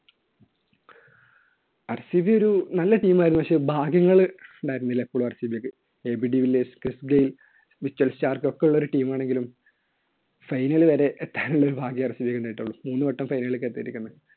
RCB ഒരു നല്ല team ആയിരുന്നു. പക്ഷേ ഭാഗ്യങ്ങൾ ഉണ്ടായിരുന്നില്ല എപ്പോഴും RCB യ്ക്ക്. വിക്ടർ ഷാർക്ക് ഒക്കെ ഉള്ള ഒരു team ആണെങ്കിലും final വരെ എത്താനുള്ള ഒരു ഭാഗ്യമേ RCB ണ്ടായിട്ടുള്ളൂ. മൂന്നുവട്ടം final ലേയ്ക്ക് എത്തിയിരിക്കുന്നു.